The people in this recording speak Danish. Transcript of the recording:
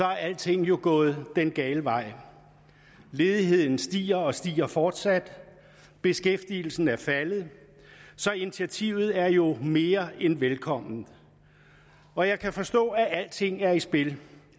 er alting jo gået den gale vej ledigheden stiger og stiger fortsat beskæftigelsen er faldet så initiativet er jo mere end velkomment og jeg kan forstå at alting er i spil